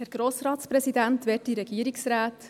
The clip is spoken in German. Kommissionssprecherin der GSoK-Minderheit.